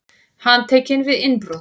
Handtekinn við innbrot